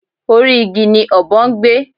Orí igi ni ọ̀bọ ń gbé